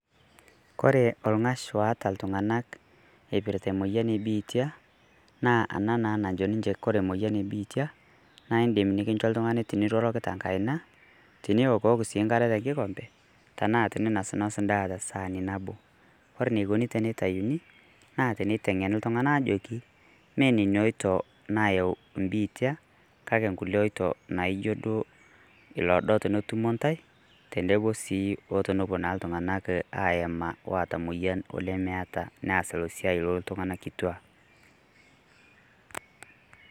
Kore olng'ash oata ltung'anak eipirrta moyian ebitia naa ana naa najo ninchee kore moyian ebitia naidim nikinchoo ltung'ani tiniroroki te nkaina, tiniokok sii nkaare te nkikombe, tana tininosnos ndaa te saani naboo. Kore niekoni tenetayuni naa teneteng'eni ltung' ana ajoki mee neni otio nayeu biitia kaki nkuloo otio nayeu naijo loodo tenetumoo ntai teneboo sii o tonopoo naa ltung'anak aiyemaa loota moyian ole meeta niaas enia siaai oltunga'ana kituak.